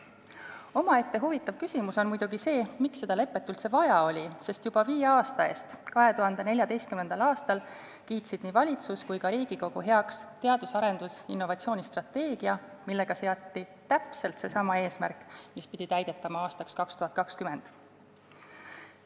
Omaette huvitav küsimus on muidugi see, miks seda lepet üldse vaja oli, sest juba viie aasta eest, 2014. aastal kiitsid nii valitsus kui ka Riigikogu heaks teadus- ja arendustegevuse ning innovatsiooni strateegia, millega seati täpselt seesama eesmärk, mis pidi täidetama aastaks 2020.